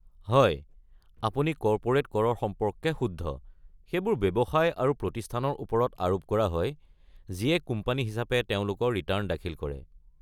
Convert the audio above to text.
হয়, আপুনি কৰ্পোৰেট কৰৰ সম্পৰ্কে শুদ্ধ; সেইবোৰ ব্যৱসায় আৰু প্ৰতিষ্ঠানৰ ওপৰত আৰোপ কৰা হয় যিয়ে কোম্পানী হিচাপে তেওঁলোকৰ ৰিটাৰ্ণ দাখিল কৰে।